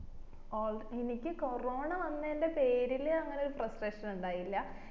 എനിക്ക് കൊറോണ വന്നെന്റെ പേരില് അങ്ങനെ ഒരു frustration ഇണ്ടായില്ല